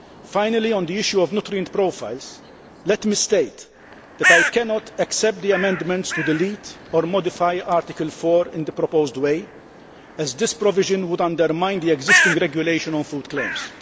Finally, on the issue of nutrient profiles, let me state that I cannot accept the amendments to delete or modify Article 4 in the proposed way, as this provision would undermine the existing regulation on food claims.